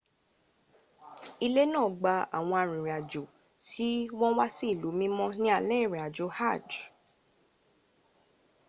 ilé náà gba àwọn arìnrìnàjò tí wọ́n wá sí ilú mímọ́ ní alẹ́ ìrìnàjò hajj